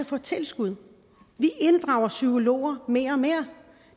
få tilskud vi inddrager psykologer mere og mere